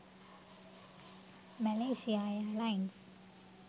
malaysia airlines